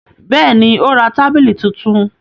Bẹ́ẹ̀ ni, ó ra tábìlì tuntun.